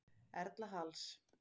Erla Halls.